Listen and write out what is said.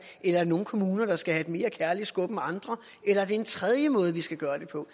er der nogle kommuner der skal have et mere kærligt skub end andre eller er det en tredje måde vi skal gøre det på